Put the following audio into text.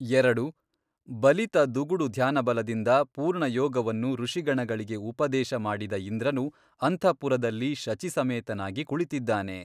ಎರಡು, ಬಲಿತ ದುಗುಡು ಧ್ಯಾನಬಲದಿಂದ ಪೂರ್ಣಯೋಗವನ್ನು ಋಷಿಗಣಗಳಿಗೆ ಉಪದೇಶ ಮಾಡಿದ ಇಂದ್ರನು ಅಂತಃಪುರದಲ್ಲಿ ಶಚೀಸಮೇತನಾಗಿ ಕುಳಿತಿದ್ದಾನೆ.